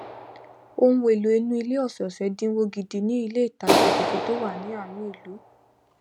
ohun èlò inú ilé ọsọọsẹ dínwó gidi ni ilé ìtajà tuntun tó wà ní àárín ìlú